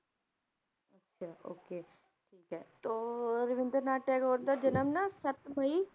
ਅੱਛਾ okay ਠੀਕ ਹੈ ਤੋ ਰਵਿੰਦਰਨਾਥ ਟੈਗੋਰ ਦਾ ਜਨਮ ਨਾ ਸੱਤ ਮਈ,